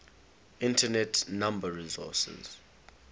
internet number resources